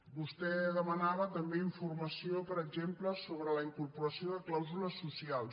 vostè demanava també informació per exemple sobre la incorporació de clàusules socials